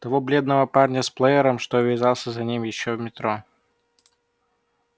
того бледного парня с плеером что увязался за ним ещё в метро